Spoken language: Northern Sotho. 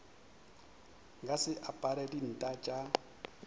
nka se apare dinta tša